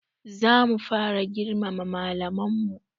Za mu fara girmama malaman mu